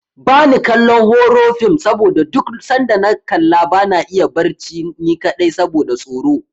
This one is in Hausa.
Bani kallon horo fim saboda duk sanda na kalla bana iya barci ni kaɗai saboda tsoro.